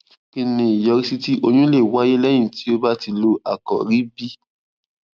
kí ni ìyọrísí tí oyún lè wáyé léyìn tí o bá ti lo àkòrí b